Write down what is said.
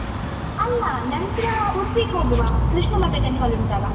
ಅಲ್ಲ ನಂತ್ರ ಉಡ್ಪಿಗ್‌ ಹೋಗುವ ಕೃಷ್ಣ ಮಠ temple ಉಂಟಲ್ಲ.